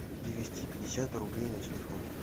перевести пятьдесят рублей на телефон